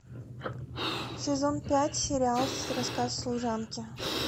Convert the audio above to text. сезон пять сериал рассказ служанки